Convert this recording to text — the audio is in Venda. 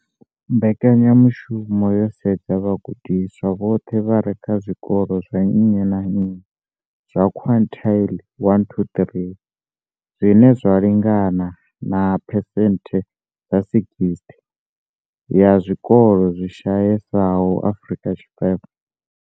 Mbekanyamushumo yo sedza vhagudiswa vhoṱhe vha re kha zwikolo zwa nnyi na nnyi zwa quintile 1-3, zwine zwa lingana na phesenthe dza 60 ya zwikolo zwi shayesaho Afrika Tshipembe.